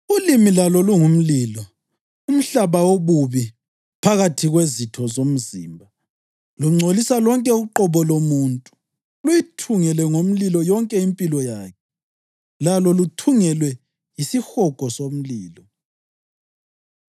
Ulimi lalo lungumlilo, umhlaba wobubi phakathi kwezitho zomzimba. Lungcolisa lonke uqobo lomuntu, luyithungele ngomlilo yonke impilo yakhe, lalo luthungelwe yisihogo somlilo.